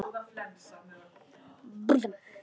SOPHUS: Ég vildi bara.